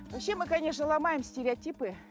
вообще мы конечно ломаем стереотипы